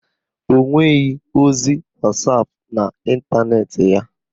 Ọ nweghị ozi wasapụ n'ekwenti ya.